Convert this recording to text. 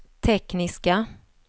tekniska